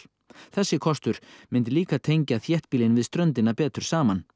þessi kostur myndi líka tengja þéttbýlin við ströndina betur saman